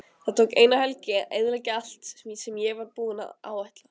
Það tók eina helgi að eyðileggja allt sem ég var búinn að áætla.